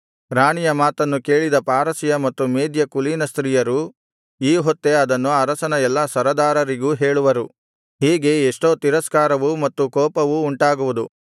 ರಾಣಿಯ ಮಾತನ್ನು ಕೇಳಿದ ಪಾರಸಿಯ ಮತ್ತು ಮೇದ್ಯ ಕುಲೀನ ಸ್ತ್ರೀಯರು ಈ ಹೊತ್ತೇ ಅದನ್ನು ಅರಸನ ಎಲ್ಲಾ ಸರದಾರರಿಗೂ ಹೇಳುವರು ಹೀಗೆ ಎಷ್ಟೋ ತಿರಸ್ಕಾರವೂ ಮತ್ತು ಕೋಪವೂ ಉಂಟಾಗುವುದು